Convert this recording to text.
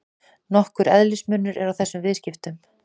Nokkur eðlismunur er á þessum viðskiptum.